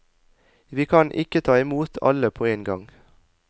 Vi kan ikke ta i mot alle på en gang.